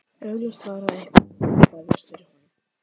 Augljóst var að eitthvað var að vefjast fyrir honum.